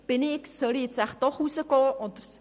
», «Soll ich jetzt doch nach draussen gehen?